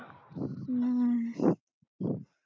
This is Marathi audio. हम्म